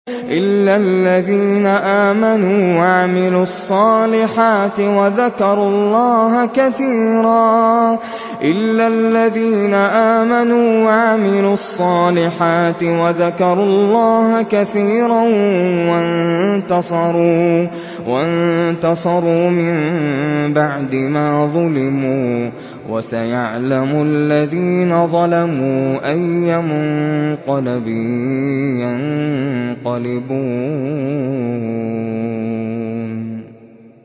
إِلَّا الَّذِينَ آمَنُوا وَعَمِلُوا الصَّالِحَاتِ وَذَكَرُوا اللَّهَ كَثِيرًا وَانتَصَرُوا مِن بَعْدِ مَا ظُلِمُوا ۗ وَسَيَعْلَمُ الَّذِينَ ظَلَمُوا أَيَّ مُنقَلَبٍ يَنقَلِبُونَ